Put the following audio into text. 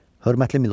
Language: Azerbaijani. Hörmətli milordlar!